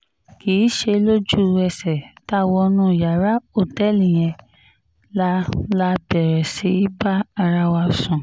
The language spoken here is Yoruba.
kì í ṣe lójú-ẹsẹ̀ tá a wọnú yàrá òtẹ́ẹ̀lì yẹn la la bẹ̀rẹ̀ sí í bá ara wa sùn